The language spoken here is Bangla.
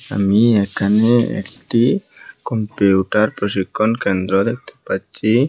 আমি এখানে একটি কম্পিউটার প্রশিক্ষণ কেন্দ্র দেখতে পাচ্ছি।